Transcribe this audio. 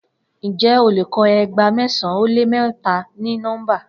Njẹ o lè kọ eegba mẹsan o lè mẹta ni nọmba?